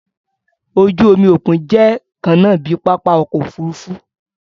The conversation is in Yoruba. Oju-omi okun jẹ kanna bi papa ọkọ ofurufu.